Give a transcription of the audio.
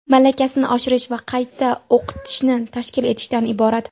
malakasini oshirish va qayta o‘qitishni tashkil etishdan iborat.